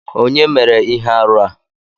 Onye mere Ihe-árụ a?